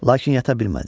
Lakin yata bilmədi.